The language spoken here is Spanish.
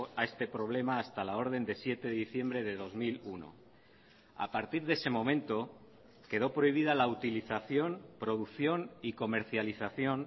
a este problema hasta la orden de siete de diciembre de dos mil uno a partir de ese momento quedó prohibida la utilización producción y comercialización